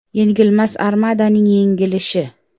Yengilmas Armadaning yengilishi.